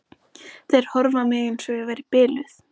Þeir horfðu á mig eins og ég væri biluð.